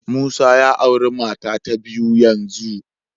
Musa ya auri mata ta biyu yanzu